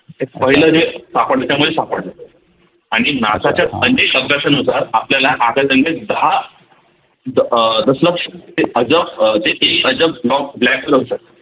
ते पहिल जे सापडल त्यामध्ये सापडल आणि NASA च्या अनेक अभ्यासानुसार आपल्याला आकाशगंगेत दहा तिथ अह दशलक्ष ते अजब अह जे ते